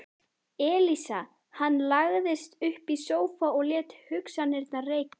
Elísa Hann lagðist upp í sófa og lét hugsanirnar reika.